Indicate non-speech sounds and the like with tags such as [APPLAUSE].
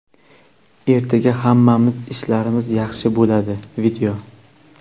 ertaga hamma ishlarimiz yaxshi bo‘ladi. [VIDEO]